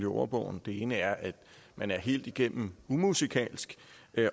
ordbogen den ene er at man er helt igennem umusikalsk